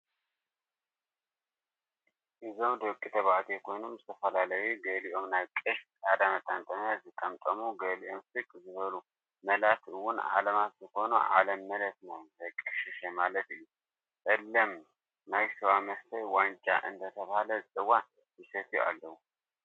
እዞም ደቂ ተበዕትዮ ኮይኖም ዝተፈላላዩ ገልኦም ናይ ቀሽ ፃዕዳ መጠምጠምያ ዝጠምጠሙ ገልኦም ስቅ ዝበሉ መላት እውን ዓለማት ዝኮኑ ዓለም መለት ዘይ ቀሸሸ ማለት እዩ ፀለም ናይ ስዋ መስተይ ዋንጫ እ ደተበሃለ ዝፅዋዕ ይሰትዩ ኣለው፣